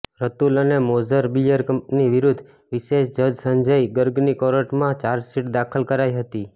રતુલ અને મોઝર બિયર કંપની વિરુદ્ધ વિશેષ જજ સંજય ગર્ગની કોર્ટમાં ચાર્જશીટ દાખલ કરાઈ હતી